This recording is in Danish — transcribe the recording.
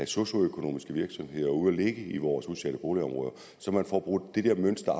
socioøkonomiske virksomheder ud at ligge i vores udsatte boligområder så man får brudt det der mønster